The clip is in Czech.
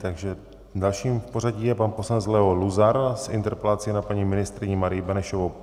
Takže dalším v pořadí je pan poslanec Leo Luzar s interpelací na paní ministryni Marii Benešovou.